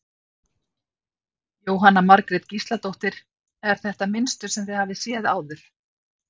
Jóhanna Margrét Gísladóttir: Er þetta mynstur sem þið hafið séð áður?